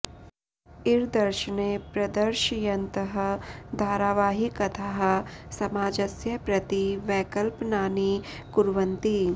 इरदर्शने प्रदर्शयन्तः धारावाही कथाः समाजस्य प्रति वैकल्पनानि कुर्वन्ति